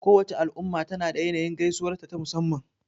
Kowace al'umma tana da yanayin gaisuwarta ta musamman.